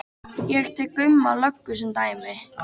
Ég tek Gumma löggu sem dæmi.